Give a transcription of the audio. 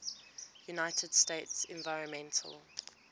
united states environmental